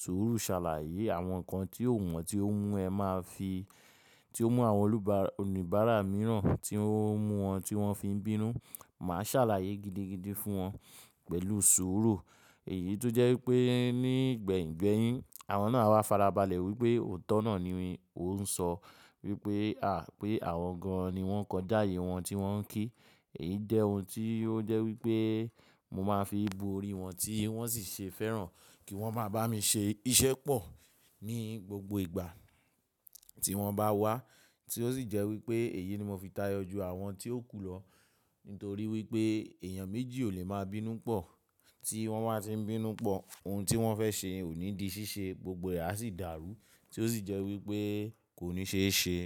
sùúrù ṣàlàyé àwọn nǹkan tí ò wọ́n tí ó mú ẹ máa fi, tí ó mú àwọn oníbàárà mìíràn tí ó mú wọn tí wọ́n fi ń bínú. Màá ṣàlàyé gidigidi fún wọn pẹ̀lú sùúrù. Èyí tó jẹ́ wípé ní gbẹ̀ngbẹ̀yìn àwọn náà á fara balẹ̀ wípé òótọ́ náà ni wọ́n ń sọ wípé àbí àwọn gan-an ni wọ́n kọ jáde ìwọ̀n tí wọ́n ń kí. Èyí jẹ́ ohun tí ó jẹ́ wípé mo máa fi bo orí wọn tí wọ́n sì ṣe fẹ́ràn kí wọ́n máa bá mi ṣe iṣẹ́ pọ̀ ní gbogbo ìgbà tí wọ́n bá wá. Tí ó sì jẹ́ wípé èyí ni mo fi tayọ ju àwọn tí ó kù lọ nítorí wípé èèyàn méjì ò lè máa bínú pọ̀. Tí wọ́n bá ti ń bínú pọ̀ ohun tí wọ́n fẹ́ ṣe ò ní di ṣíṣe gbogbo rẹ̀ á sì dàrú tí ó sì jẹ́ wípé kò ní ṣe é ṣe.